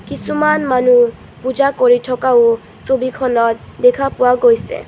কিছুমান মানুহ পূজা কৰি থকাও ছবিখনত দেখা পোৱা গৈছে।